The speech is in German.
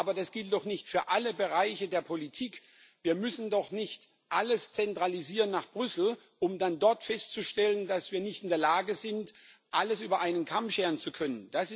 Aber das gilt doch nicht für alle Bereiche der Politik. Wir müssen doch nicht alles nach Brüssel zentralisieren, um dann dort festzustellen, dass wir nicht in der Lage sind, alles über einen Kamm scheren zu können.